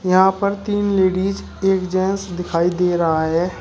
यहां पर तीन लेडिस एक जेंट्स दिखाई दे रहा है।